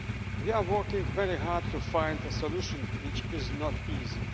We are working very hard to find a solution, but that is not easy.